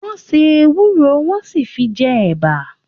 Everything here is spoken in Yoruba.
Wọ́n se ewúro, wọ́n sì fi jẹ ẹ̀bà.